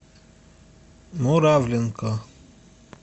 муравленко